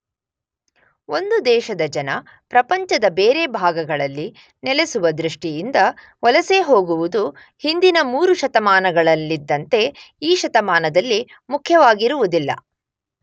ಒಂದು ದೇಶದ ಜನ ಪ್ರಪಂಚದ ಬೇರೆ ಭಾಗಗಳಲ್ಲಿ ನೆಲೆಸುವ ದೃಷ್ಟಿಯಿಂದ ವಲಸೆ ಹೋಗುವುದು ಹಿಂದಿನ ಮೂರು ಶತಮಾನಗಳಲ್ಲಿದ್ದಂತೆ ಈ ಶತಮಾನದಲ್ಲಿ ಮುಖ್ಯವಾಗಿರುವುದಿಲ್ಲ.